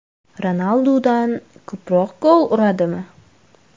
Ronaldudan ko‘proq gol uradimi?